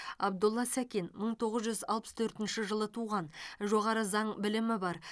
абдолла сәкен мың тоғыз жүз алпыс төртінші жылы туған жоғары заң білімі бар